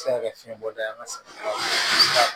Se ka kɛ fiɲɛ bɔda ye an ka safinɛw ye